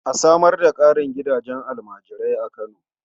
A samar da ƙarin gidajen almajirai a Kano.